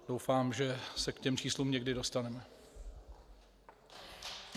Doufám, že se k těm číslům někdy dostaneme.